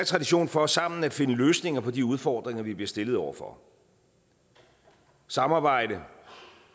tradition for sammen at finde løsninger på de udfordringer vi bliver stillet over for samarbejde og